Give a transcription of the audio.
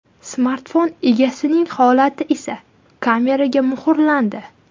Smartfon egasining holati esa kameraga muhrlandi .